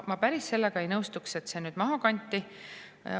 Ma päris ei nõustuks sellega, et see maha kanti.